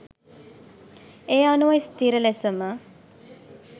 ඒ අනුව ස්ථීර ලෙසම